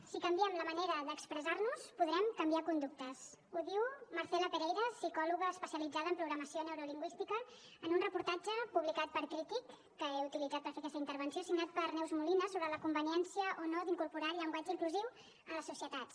si canviem la manera d’expressar nos podrem canviar conductes ho diu marcela pereira psicòloga especialitzada en programació neurolingüística en un reportatge publicat per crític que he utilitzat per fer aquesta intervenció signat per neus molina sobre la conveniència o no d’incorporar llenguatge inclusiu en les societats